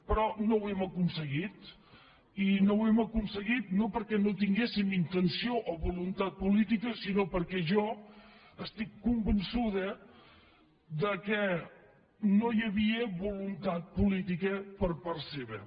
però no ho hem aconseguit i no ho hem aconseguit no perquè no en tinguéssim intenció o voluntat política sinó perquè jo estic convençuda que no hi havia voluntat política per part seva